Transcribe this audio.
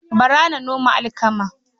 Bara na noman alkama.